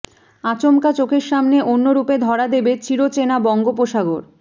আচমকা চোখের সামনে অন্য রূপে ধরা দেবে চির চেনা বঙ্গোপসাগর